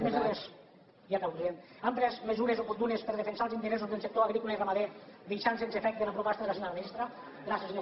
ja acabo president altres mesures oportunes per defensar els interessos dels sector agrícola i ramader deixant sense efecte la proposta de la senyora ministra gràcies senyor conseller